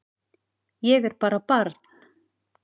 Ég er bara barn.